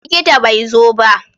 Likita bai zo ba?